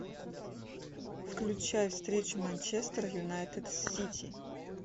включай встречу манчестер юнайтед с сити